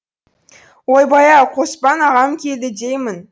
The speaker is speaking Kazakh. ойбай ау қоспан ағам келді деймін